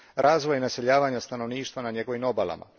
razvoja i naseljavanja stanovništva na njegovim obalama.